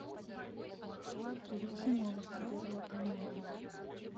включи новости первого канала